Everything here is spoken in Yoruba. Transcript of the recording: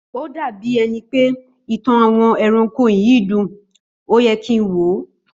Ó dà bíi ẹni pé ìtàn àwọn ẹranko yìí dùn, óye kin wòó